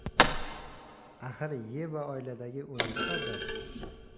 Axir Yeva oiladagi o‘ninchi farzand.